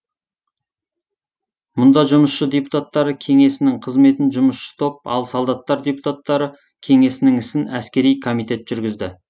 мұнда жұмысшы депутаттары кеңесінің қызметін жұмысшы топ ал солдаттар депутаттары кеңесінің ісін әскери комитет жүргізді